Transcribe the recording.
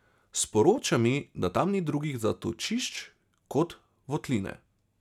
Sporoča mi, da tam ni drugih zatočišč kot votline.